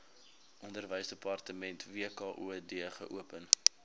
onderwysdepartement wkod geopen